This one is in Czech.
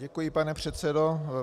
Děkuji, pane předsedo.